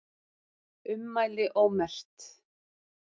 Ummæli ómerkt